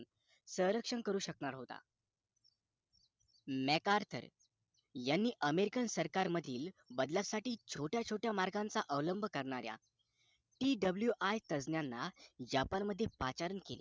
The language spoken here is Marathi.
स्वरक्षण करू शकणार होता mekarcon यांनी american सरकारमधील बदलाच्या छोट्या छोट्या मार्गांचा अवलंब कररणाऱ्या TWI तज्ज्ञांना japan मध्ये पाचारण केले